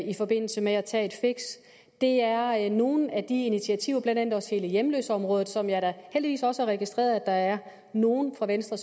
i forbindelse med at tage et fix det er nogle af de initiativer blandt andet også hele hjemløseområdet som jeg da heldigvis også har registreret at der er nogle fra venstre